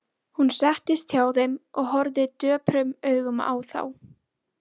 Hún settist hjá þeim og horfði döprum augum á þá.